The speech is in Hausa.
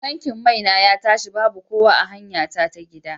Tankin mai na ya tashi babu kowa a hanyara ta gida.